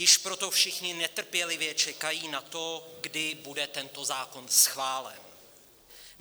Již proto všichni netrpělivě čekají na to, kdy bude tento zákon schválen.